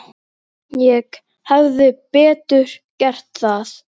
Ég hefði betur gert það.